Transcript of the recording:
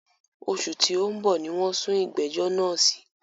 Òṣù tí o ń bọ̀ ní wọ́n sún ìgbẹ̀jọ́ náà sí.